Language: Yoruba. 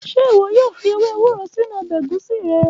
Ṣe iwọ yoo fi ewe ewuro sinu ọbẹ egusi rẹ?